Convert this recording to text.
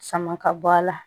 Sama ka bɔ a la